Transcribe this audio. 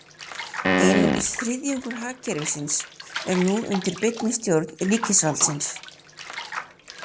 Einungis þriðjungur hagkerfisins er nú undir beinni stjórn ríkisvaldsins.